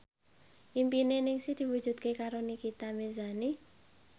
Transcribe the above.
impine Ningsih diwujudke karo Nikita Mirzani